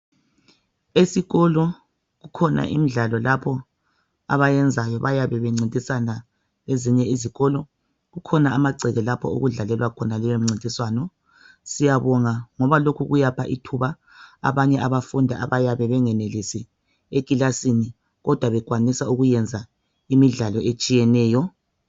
Esikolo kukhona umdlwalo lapho abayenzayo bayabencintisana lezinye izikolo kukhona amagceke lapho okudlalelwa khona leyo mcintiswano. Siyabonga ngoba lokhu kuyapha ithuba abanye abafundi abayabe bengenelisi ekilasini kodwa bekwanisa ukwenza imidlwalo etshiyeneyo.